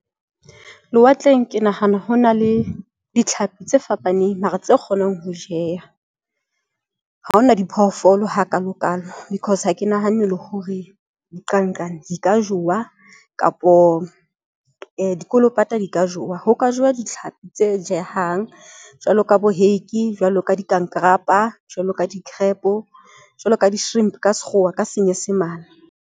Lewatleng, ke nahana ho na le ditlhapi tse fapaneng mara tse kgonang ho jeya. Ha hona diphoofolo ha kalo kalo, because ha ke nahanne le hore dinqanqane di ka jowa kapa dikolopata di ka jowa. Ho ka jowa ditlhapi tse jehang jwalo ka hake, jwalo ka dikankarapa jwalo ka di-crap-o, jwalo ka di-shrimp ka sekgowa ka senyesemane.